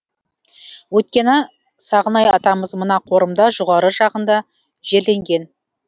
өйткені сағынай атамыз мына қорымда жоғары жағында жерленген